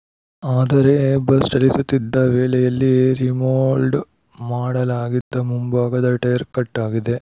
ಆದರೆ ಬಸ್‌ ಚಲಿಸುತ್ತಿದ್ದ ವೇಳೆಯಲ್ಲಿ ರಿಮೋಲ್ಡ್‌ ಮಾಡಲಾಗಿದ್ದ ಮುಂಭಾಗದ ಟೈರ್‌ ಕಟ್‌ ಆಗಿದೆ